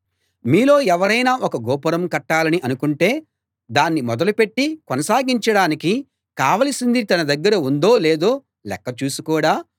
మీలో ఎవరైనా ఒక గోపురం కట్టాలని అనుకుంటే దాన్ని మొదలుపెట్టి కొనసాగించడానికి కావలసింది తన దగ్గర ఉందో లేదో లెక్క చూసుకోడా